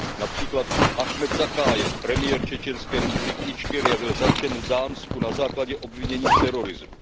Například Achmed Zakajev, premiér čečenské republiky Ičkeria, byl zatčen v Dánsku na základě obvinění z terorismu.